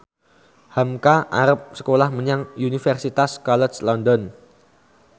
hamka arep sekolah menyang Universitas College London